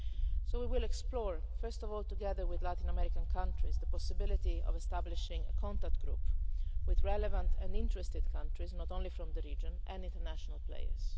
So we will explore, first of all together with Latin American countries, the possibility of establishing a contact group with relevant and interested countries, not only from the region, and international